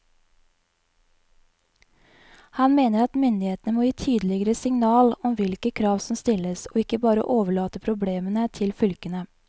Han mener at myndighetene må gi tydeligere signal om hvilke krav som stilles, og ikke bare overlate problemene til fylkene.